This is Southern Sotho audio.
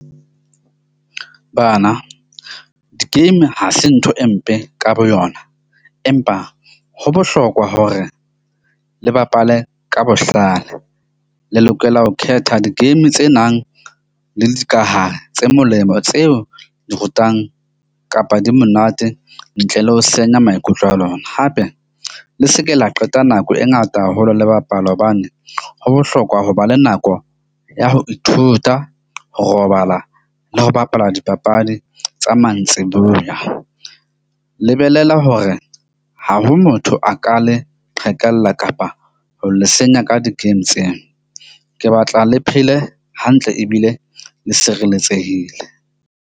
Bana di-game ha se ntho e mpe ka boyona, empa ho bohlokwa hore le bapale ka bohlale le lokela ho khetha di-game tse nang le dikahare tse molemo, tseo di rutang kapa di monate ntle le ho senya maikutlo a lona. Hape le seke la qeta nako e ngata haholo le bapala hobane ho bohlokwa ho ba le nako ya ho ithuta, ho robala le ho bapala dipapadi tsa mantsiboya. Lebelela hore ha ho motho a ka le qhekella kapa ho le senya ka di-game tseo. Ke batla le phele hantle ebile le sireletsehile.